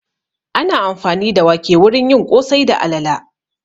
Ana amfani da wake wurin yin ƙosai da alala